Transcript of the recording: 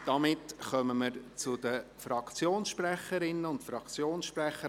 Jetzt kommen wir zu den Fraktionssprecherinnen und Fraktionssprechern.